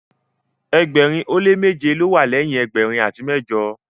ẹgbẹrin o le meje ló wà leyin ẹgbẹrin ati mẹjọ